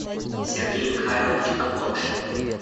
сергей михайлович антошин